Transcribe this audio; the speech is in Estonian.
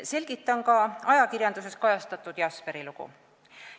Selgitan ka ajakirjanduses kajastatud Jesperi lugu.